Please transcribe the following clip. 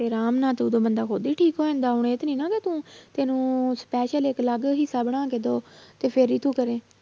ਤੇ ਆਰਾਮ ਨਾਲ ਤੇ ਉਦੋਂ ਬੰਦਾ ਖੁੱਦ ਹੀ ਠੀਕ ਹੋ ਜਾਂਦਾ, ਹੁਣ ਇਹ ਤੇ ਨਹੀਂ ਨਾ ਕਿ ਤੂੰ ਤੈਨੂੰ special ਇੱਕ ਅਲੱਗ ਹਿੱਸਾ ਬਣਾ ਕੇ ਦਓ ਤੇ ਫਿਰ ਹੀ ਤੂੰ ਕਰੇਂ।